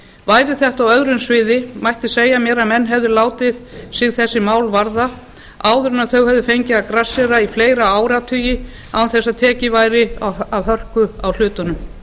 væri þetta á öðru sviði mætti segja mér að menn hefðu látið sig þessi mál varða áður en þau hefðu fengið að grassera í fleiri áratugi án þess að tekið væri af hörku á hlutunum